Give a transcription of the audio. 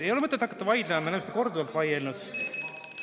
Ei ole mõtet hakata vaidlema, me oleme korduvalt selle üle vaielnud.